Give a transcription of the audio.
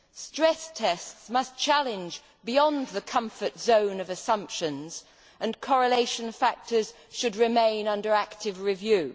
Stress tests must challenge beyond the comfort zone of assumptions, and correlation factors should remain under active review.